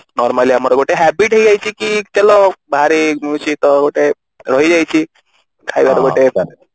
normally ଆମର ଗୋଟେ habit ହେଇ ଯାଇଛି କି ତେଲ ବାହାରେ ସିଏ ତ ଗୋଟେ ରହି ଯାଇଛି ଖାଇବାର ଗୋଟେ